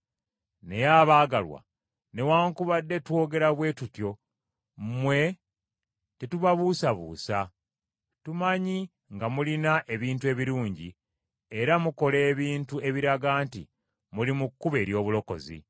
Naye abaagalwa, newaakubadde twogera bwe tutyo mmwe tetubabuusabuusa. Tumanyi nga mulina ebintu ebirungi era mukola ebintu ebiraga nti muli mu kkubo ery’obulokozi.